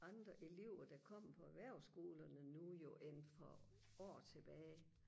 andre elever der kommer på erhvervsskolerne nu jo end for år tilbage